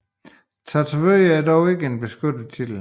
Tatovør er dog ikke en beskyttet titel